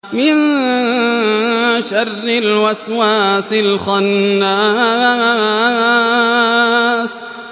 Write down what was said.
مِن شَرِّ الْوَسْوَاسِ الْخَنَّاسِ